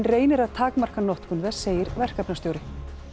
reynir að takmarka notkun þess segir verkefnastjóri